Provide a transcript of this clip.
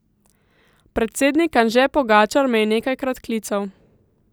Predsednik Anže Pogačar me je nekajkrat klical.